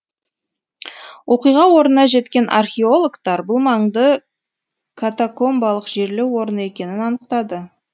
оқиға орнына жеткен археологтар бұл маңды катакомбалық жерлеу орны екенін анықтады